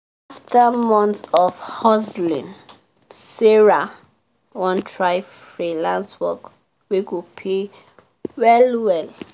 after months of hustling sarah wan try freelance work wey go pay well well